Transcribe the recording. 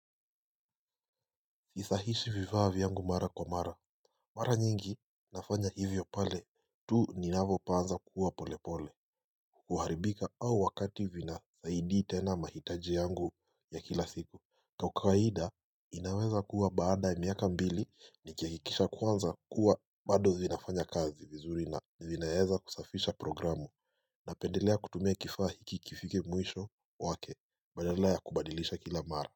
Sisahishi vitaa vyangu mara kwa mara Mara nyingi nafanya hivyo pale tu ninavopaanza kuwa pole pole kuharibika au wakati vina saidi tena mahitaji yangu ya kila siku ka ukawaida inaweza kuwa baada ya miaka mbili nikiakikisha kwanza kuwa bado vinafanya kazi vizuri na vinaeza kusafisha programu Napendelea kutumia kifaa hiki kifike mwisho wake badala ya kubadilisha kila mara.